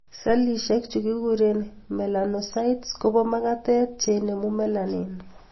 Sellishek chu kikuren melanocytes kobo magatet cheinemu melanin